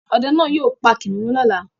Ọdẹ náá yóò pa kìnnìún lọ́la